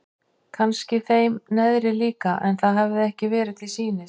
Kannski þeim neðri líka en það hafði ekki verið til sýnis.